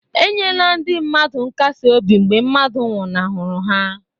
E nyela ndị mmadụ nkasi obi mgbe mmadụ nwụnahụrụ ya.